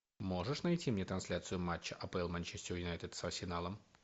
можешь найти мне трансляцию матча апл манчестер юнайтед с арсеналом